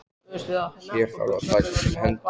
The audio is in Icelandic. Hér þarf að taka til hendi.